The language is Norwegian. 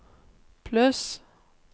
pluss